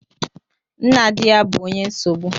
Nna di ya bu onye nsogbu